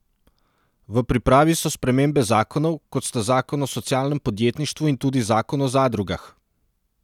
V pripravi so spremembe zakonov, kot sta zakon o socialnem podjetništvu in tudi zakon o zadrugah.